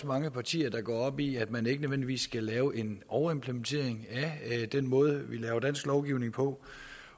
mange partier der går op i at man ikke nødvendigvis skal lave en overimplementering via den måde vi laver dansk lovgivning på